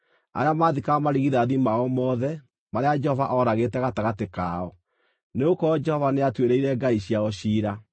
arĩa maathikaga marigithathi mao mothe, marĩa Jehova ooragĩte gatagatĩ kao; nĩgũkorwo Jehova nĩatuĩrĩire ngai ciao ciira.